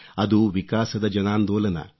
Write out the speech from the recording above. ಅದು ವಿಕಾಸದ ಜನಾಂದೋಲನ